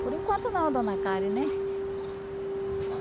Por enquanto não, Dona Karen, né?